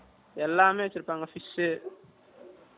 எல்லாமே வச்சி இருப்பாங்க fish